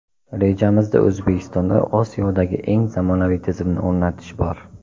Rejamizda O‘zbekistonda Osiyodagi eng zamonaviy tizimni o‘rnatish bor.